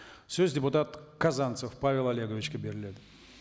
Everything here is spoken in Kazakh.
сөз депутат казанцев павел олеговичке беріледі